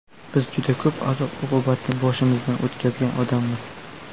Biz juda ko‘p azob-uqubatni boshimizdan o‘tkazgan odammiz.